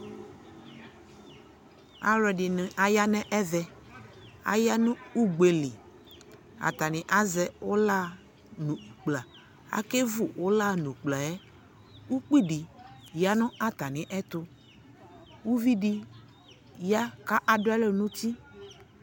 alʋɛdini ayanʋ ɛvɛ, ayanʋ ʋgbɛli, atani azɛ ʋla nʋ ʋkpla, akɛ vʋ ʋlaɛ nʋ ʋkplaɛ, ʋkpi di yanʋ atami ɛtʋ, ʋvidi ya kʋ adʋɛlʋ nʋ ʋti